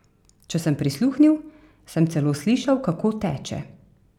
Če sem prisluhnil, sem celo slišal, kako teče.